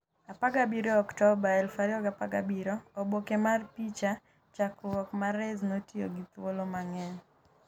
17 Oktoba 2017 Oboke mar picha, chakruok Mahrez notiyo gi thuolo mang'eny. .